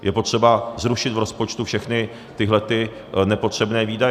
Je potřeba zrušit v rozpočtu všechny tyhlety nepotřebné výdaje.